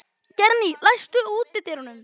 Geirný, læstu útidyrunum.